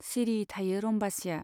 सिरि थायो रम्बासीया।